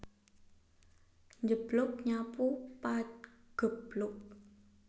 Njeblug nyapu pageblug